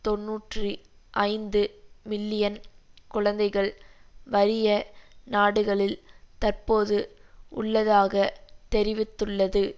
தொன்னூற்றி ஐந்து மில்லியன் குழந்தைகள் வறிய நாடுகளில் தற்போது உள்ளதாக தெரிவித்துள்ளது